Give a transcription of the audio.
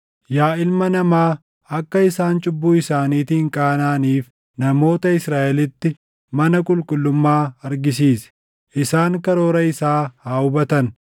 “Yaa ilma namaa, akka isaan cubbuu isaaniitiin qaanaʼaniif namoota Israaʼelitti mana qulqullummaa argisiisi. Isaan karoora isaa haa hubatan;